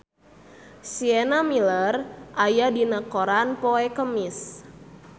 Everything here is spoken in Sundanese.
Sienna Miller aya dina koran poe Kemis